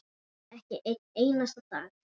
Ekki einn einasta dag.